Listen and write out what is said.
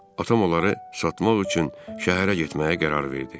Atam onları satmaq üçün şəhərə getməyə qərar verdi.